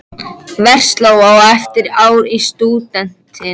Og göngum að sjálfsögðu frá saman á eftir.